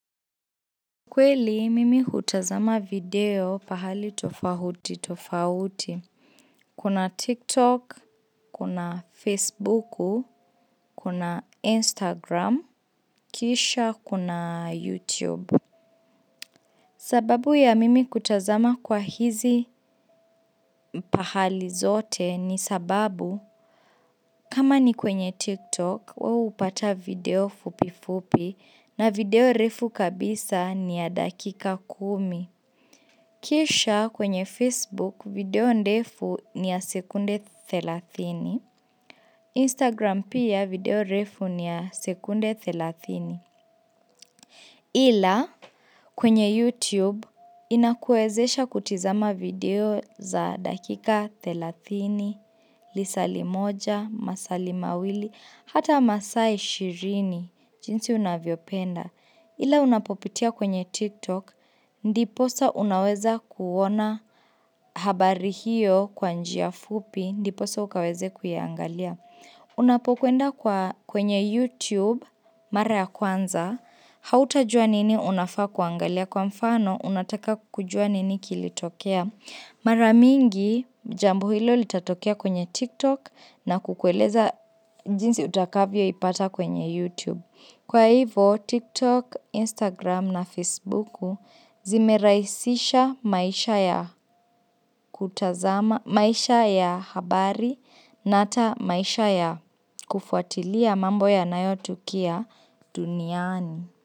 Kweli mimi hutazama video pahali tofauti tofauti. Kuna TikTok, kuna Facebook, kuna Instagram, kisha kuna YouTube. Sababu ya mimi kutazama kwa hizi pahali zote ni sababu kama ni kwenye TikTok wao hupata video fupi fupi na video refu kabisa ni ya dakika kumi. Kisha kwenye Facebook video ndefu ni ya sekunde 30. Instagram pia video refu ni ya sekunde 30. Ila kwenye YouTube inakuwezesha kutizama video za dakika 30, lisali moja, masali mawili, hata masaa 20 jinsi unavyopenda. Ila unapopitia kwenye TikTok, ndiposa unaweza kuona habari hiyo kwa njia fupi, ndiposa ukaweze kuiangalia. Unapokwenda kwenye YouTube, mara ya kwanza, hautajua nini unafaa kuangalia kwa mfano unataka kujua nini kilitokea. Mara mingi jambo hilo litatokea kwenye TikTok na kukueleza jinsi utakavyoipata kwenye YouTube. Kwa hivo TikTok, Instagram na Facebooku zimerahisisha maisha ya maisha ya habari na hata maisha ya kufuatilia mambo yanayotukia duniani.